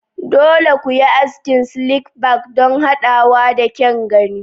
Dole ne ku yi askin slick back don haɗawa da kyan gani.